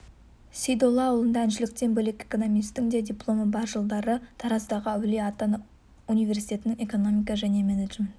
сейдоллаұлында әншіліктен бөлек экономистің де дипломы бар жылдары тараздағы әулие ата университетінің экономика және менеджмент